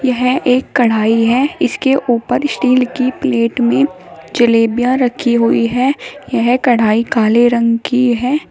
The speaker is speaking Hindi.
यह एक कढ़ाई है इसके ऊपर स्टील की प्लेट में जलेबियां रखी हुई हैं यह कढ़ाई काले रंग की है।